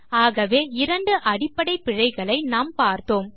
ஆகவே இரண்டு அடிப்படை பிழைகளை நாம் பார்த்தோம்